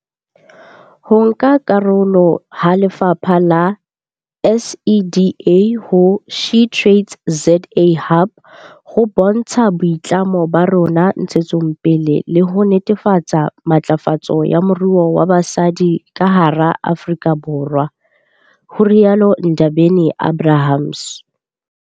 Ho nka karolo ha lefapha le SEDA ho SheTradesZA Hub ho bontsha boitlamo ba rona ntshetsong pele le ho netefatsa matlafatso ya moruo wa basadi ka hara Afrika Borwa, ho rialo Ndabeni-Abrahams.